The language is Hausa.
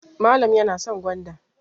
Malam yana son gwanda.